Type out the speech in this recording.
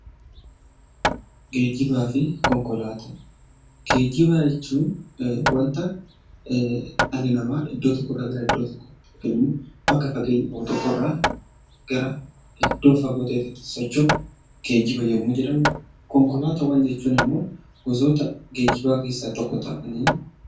Geejjibaa fi konkolaataa, geejjiba jechuun wanta dhalli namaa iddoo tokko irraa gara iddoo tokkootti yookaan immoo bakka fageenya qabu tokko irraa iddoo fagoo ta'eetti socho'u geejjiba yemmoo jedhamu. Konkolaataawwan jechuun immoo gosoota geejjibaa keessaa tokko ta'aanii